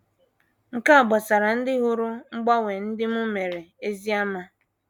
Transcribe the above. Nke a gbaara ndị hụrụ mgbanwe ndị m mere ezi àmà.